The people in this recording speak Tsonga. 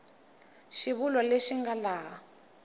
xivulwa lexi xi nga laha